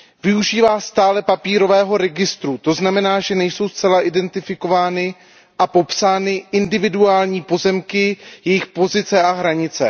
Využívá stále papírového registru, to znamená, že nejsou zcela identifikovány a popsány individuální pozemky, jejich pozice a hranice.